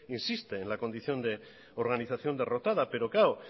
insiste en la condición de organización derrotada pero claro